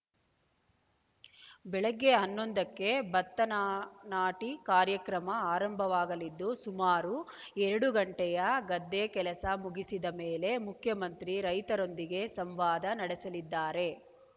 ಬೆಳಗ್ಗೆ ಹನ್ನೊಂದಕ್ಕೆ ಭತ್ತನ ನಾಟಿ ಕಾರ್ಯಕ್ರಮ ಆರಂಭವಾಗಲಿದ್ದು ಸುಮಾರು ಎರಡು ಗಂಟೆಯ ಗದ್ದೆ ಕೆಲಸ ಮುಗಿಸಿದ ಮೇಲೆ ಮುಖ್ಯಮಂತ್ರಿ ರೈತರೊಂದಿಗೆ ಸಂವಾದ ನಡೆಸಲಿದ್ದಾರೆ